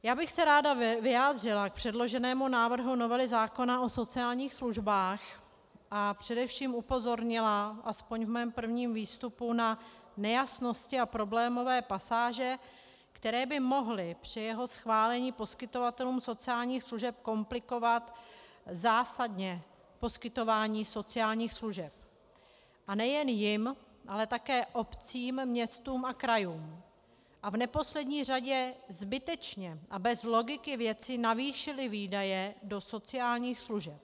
Já bych se ráda vyjádřila k předloženému návrhu novely zákona o sociálních službách a především upozornila, aspoň ve svém prvním výstupu, na nejasnosti a problémové pasáže, které by mohly při jeho schválení poskytovatelům sociálních služeb komplikovat zásadně poskytování sociálních služeb, a nejen jim, ale také obcím, městům a krajům, a v neposlední řadě zbytečně a bez logiky věci navýšily výdaje do sociálních služeb.